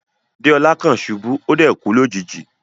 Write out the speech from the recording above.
Deola kan ṣubu, o dẹ̀ kú lójijì.